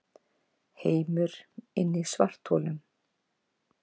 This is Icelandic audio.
Heimur inni í svartholum